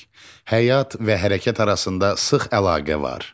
Həyat və hərəkət arasında sıx əlaqə var.